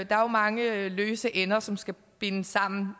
der er mange løse ender som skal bindes sammen